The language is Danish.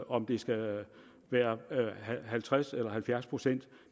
om det skal være halvtreds eller halvfjerds procent